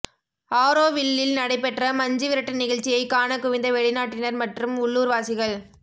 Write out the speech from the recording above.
ஆரோவில்லில் நடைபெற்ற மஞ்சுவிரட்டு நிகழ்ச்சியை காண குவிந்த வெளிநாட்டினர் மற்றும் உள்ளூர்வாசிகள்